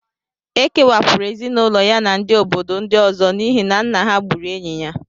E kewapụrụ ezinụlọ ya na ndị obodo ndị ọzọ n'ihi na nna ha gburu enyi ya